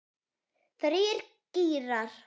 Þrír gírar.